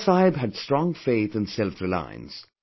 Baba Saheb had strong faith in selfreliance